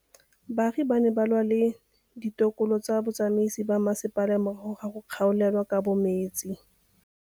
Baagi ba ne ba lwa le ditokolo tsa botsamaisi ba mmasepala morago ga go gaolelwa kabo metsi.